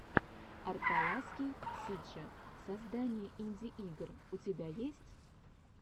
арталаский сиджи создание инди игр у тебя есть